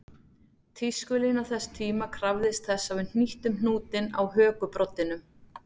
Tískulína þess tíma krafðist þess að við hnýttum hnútinn á hökubroddinum